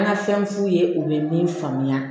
An ka fɛn f'u ye u bɛ min faamuya